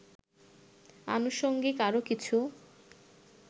আনুষঙ্গিক আরও কিছু